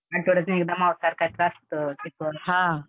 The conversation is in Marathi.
आठ्वड्यातनं एकदा मांसाहार खायचं असतं चिकन.